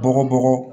Bɔgɔ bɔgɔ